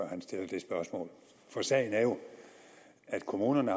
han stiller det spørgsmål sagen er jo at kommunerne